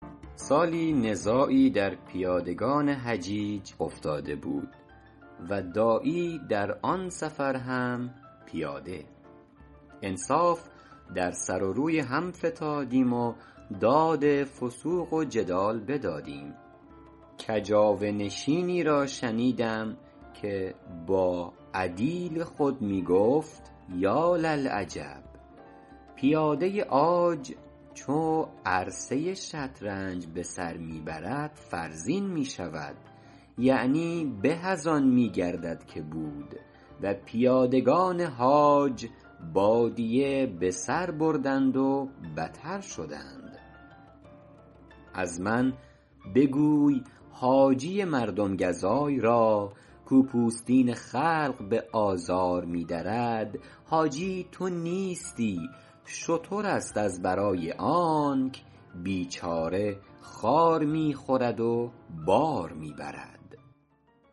سالی نزاعی در پیادگان حجیج افتاده بود و داعی در آن سفر هم پیاده انصاف در سر و روی هم فتادیم و داد فسوق و جدال بدادیم کجاوه نشینی را شنیدم که با عدیل خود می گفت یاللعجب پیاده عاج چو عرصه شطرنج به سر می برد فرزین می شود یعنی به از آن می گردد که بود و پیادگان حاج بادیه به سر بردند و بتر شدند از من بگوی حاجی مردم گزای را کاو پوستین خلق به آزار می درد حاجی تو نیستی شتر است از برای آنک بیچاره خار می خورد و بار می برد